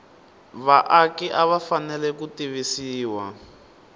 vaaki va fanele ku tivisiwa